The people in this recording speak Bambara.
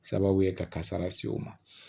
Sababu ye ka kasara se o ma